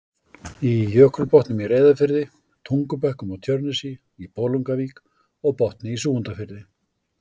í Jökulbotnum í Reyðarfirði, Tungubökkum á Tjörnesi, í Bolungarvík og Botni í Súgandafirði.